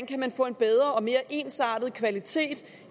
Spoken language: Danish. kan få en bedre og mere ensartet kvalitet